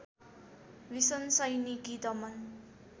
भीषण सैनिक दमन